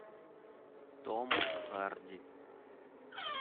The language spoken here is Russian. том харди